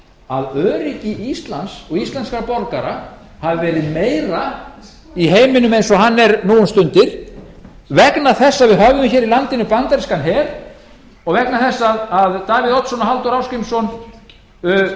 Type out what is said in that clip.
að öryggi íslands og íslenskra borgara hafi verið meira í heiminum eins og hann er nú um stundir vegna þess að við höfðum í landinu bandarískan her og vegna þess að davíð oddsson og halldór ásgrímsson